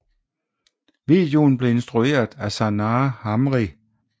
Videoen blev instrueret af Sanaa Hamri